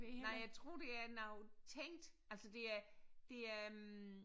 Nej jeg tror det er noget tænkt altså det er det er